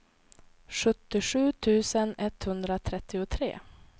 sjuttiosju tusen etthundratrettiotre